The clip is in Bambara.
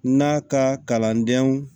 N'a ka kalandenw